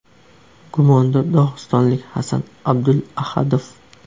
Gumondor dog‘istonlik Hasan Abdulahadov.